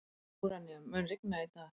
Úranía, mun rigna í dag?